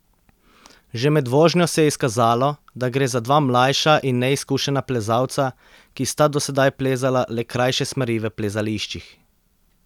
Že med vožnjo se je izkazalo, da gre za dva mlajša in neizkušena plezalca, ki sta do sedaj plezala le krajše smeri v plezališčih.